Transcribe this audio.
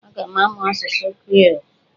Aga m amụ asụsụ Kriiol.